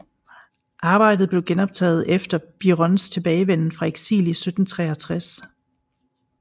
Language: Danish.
Arbejdet blev genoptaget efter Birons tilbagevenden fra eksil i 1763